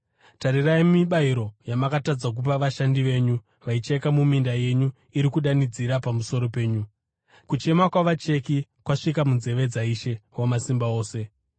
Tarirai mibayiro yamakatadza kupa vashandi venyu vaicheka muminda yenyu iri kudanidzira pamusoro penyu. Kuchema kwavacheki kwasvika munzeve dzaIshe Wamasimba Ose.